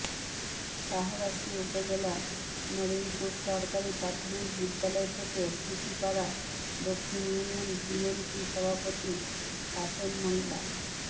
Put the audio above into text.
শাহরাস্তি উপজেলা নরিংপুর সরকারী প্রাথমিক বিদ্যালয় থেকে সূচীপাড়া দক্ষিণ ইউনিয়ন বিএনপি সভাপতি কাসেম মোল্লা